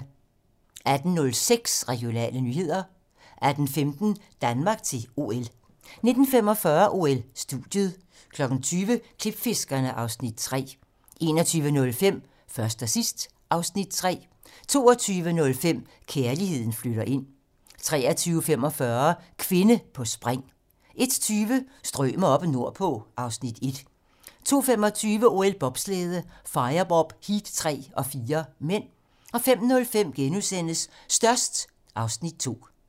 18:06: Regionale nyheder 18:15: Danmark til OL 19:45: OL: Studiet 20:00: Klipfiskerne (Afs. 3) 21:05: Først og sidst (Afs. 3) 22:05: Kærligheden flytter ind 23:45: Kvinde på spring 01:20: Strømer oppe nordpå (Afs. 1) 02:25: OL: Bobslæde - firebob, heat 3 og 4 (m) 05:05: Størst (Afs. 2)*